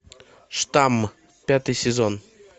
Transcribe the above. штамм пятый сезон